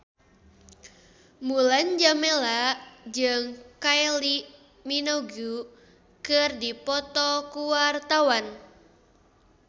Mulan Jameela jeung Kylie Minogue keur dipoto ku wartawan